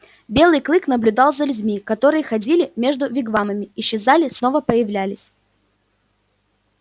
белый клык наблюдал за людьми которые ходили между вигвамами исчезали снова появлялись